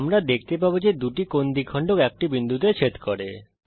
আমরা দেখতে পাবো যে দুটি কোণ দ্বিখণ্ডক একটি বিন্দুতে ছেদ করে